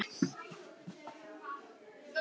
Hvers vegna á morgun?